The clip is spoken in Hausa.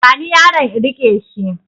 Bani yaron in riƙe shi